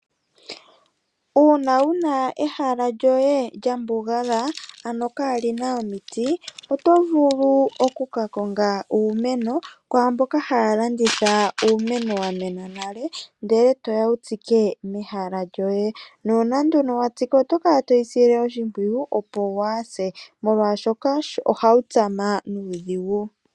Uuna wuna ehala lyoye lyambugala ano kalina omiti otovulu okukakonga uumeno kwaamboka haya landitha uumeno wamena nale ndele toya wutsike pehala lyoye nuuna nduni watsiki otokala towusile oshimpwiyu opo hwaase molwashoka ohawu tsama nuudhigu.